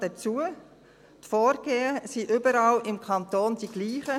Die Vorgehensweisen sind überall im Kanton dieselben.